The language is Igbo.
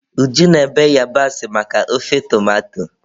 Uju na-ebe yabasị maka ofe tomato.